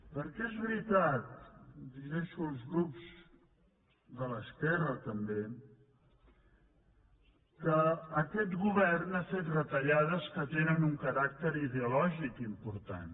perquè és veritat i em dirigeixo als grups de l’esquerra també que aquest govern ha fet retallades que tenen un caràcter ideològic important